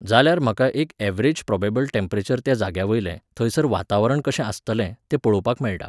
जाल्यार म्हाका एक ऍव्हरेज प्रॉबॅबल टॅम्परेचर त्या जाग्या वयलें, थंयसर वातावरण कशें आसतलें, तें पळोवपाक मेळटा.